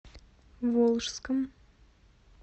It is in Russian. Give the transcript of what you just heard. волжском